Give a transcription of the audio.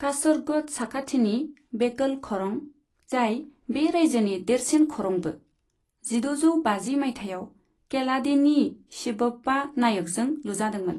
कासरग'ड साखाथिनि बेकल खरं, जाय बे रायजोनि देरसिन खरंबो, जिद'जौ बाजि मायथाइयाव केलाडीनि शिबप्पा नायकजों लुजादोंमोन।